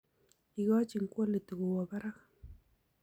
Ikochin quality kowo barak